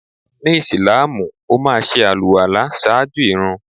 Ni ìsláàmù, ó máa ṣe àlùwàlá ṣáájú ìrun.